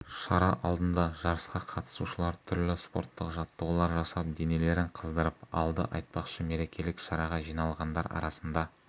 шара алдында жарысқа қатысушылар түрлі спорттық жаттығулар жасап денелерін қыздырып алды айтпақшы мерекелік шараға жиналғандар арасында